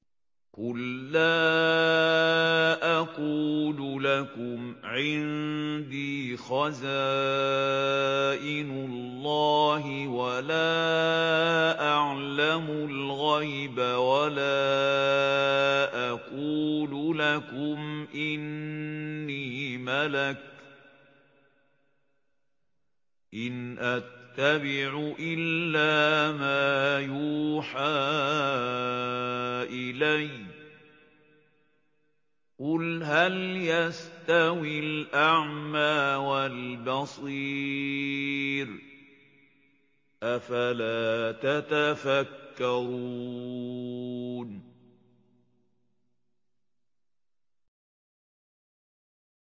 قُل لَّا أَقُولُ لَكُمْ عِندِي خَزَائِنُ اللَّهِ وَلَا أَعْلَمُ الْغَيْبَ وَلَا أَقُولُ لَكُمْ إِنِّي مَلَكٌ ۖ إِنْ أَتَّبِعُ إِلَّا مَا يُوحَىٰ إِلَيَّ ۚ قُلْ هَلْ يَسْتَوِي الْأَعْمَىٰ وَالْبَصِيرُ ۚ أَفَلَا تَتَفَكَّرُونَ